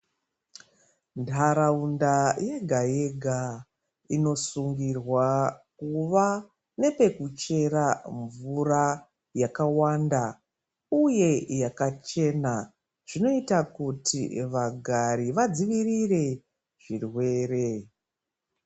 Ntharaunda yega yega inosungirwa kuva nepekuchera mvura yakawanda uye yakachena zvinoita kuti vagari vadzivirire zvirwere.